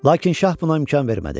Lakin şah buna imkan vermədi.